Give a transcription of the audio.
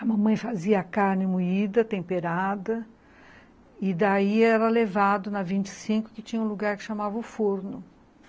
A mamãe fazia a carne moída, temperada, e daí era levado na vinte e cinco, que tinha um lugar que chamava o forno.